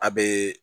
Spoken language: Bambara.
A bee